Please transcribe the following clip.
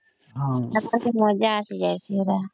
ମଜା ଆସି ଯାଇଛି ପୁରା